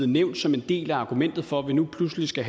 nævnt som en del af argumentet for at vi nu pludselig skal